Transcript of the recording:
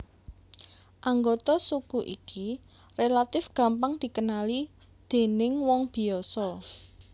Anggota suku iki relatif gampang dikenali déning wong biasa